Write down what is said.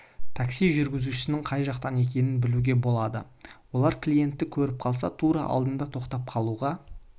такси жүргізушісінің қай жақтан екенін білуге болады олар клиентті көріп қалса тура алдыңда тоқтап қалуға